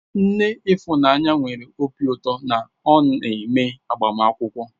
Nne Ifunanya nwere obi ụtọ na ọ neme agbamakwụkwọ.